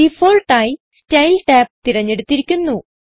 default ആയി style tab തിരഞ്ഞെടുത്തിരിക്കുന്നു